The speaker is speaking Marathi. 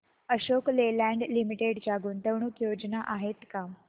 अशोक लेलँड लिमिटेड च्या गुंतवणूक योजना आहेत का